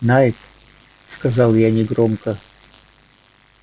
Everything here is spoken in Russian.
найд сказал я негромко